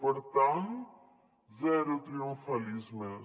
per tant zero triomfalismes